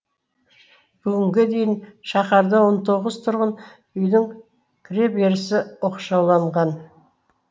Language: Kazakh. бүгінге дейін шаһарда он тоғыз тұрғын үйдің кіреберісі оқшауланған